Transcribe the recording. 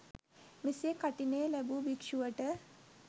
මෙසේ කඨිනය ලැබූ භික්‍ෂුවට